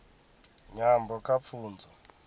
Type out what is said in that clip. nyambo kha pfunzo